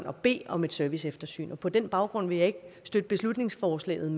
at bede om et serviceeftersyn og på den baggrund vil jeg ikke støtte beslutningsforslaget